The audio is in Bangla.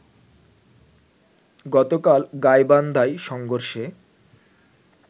গতকাল গাইবান্ধায় সংঘর্ষে